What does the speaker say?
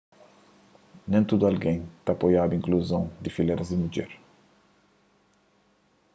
nen tudu algen ta apoiaba inkluzon di filéras di mudjer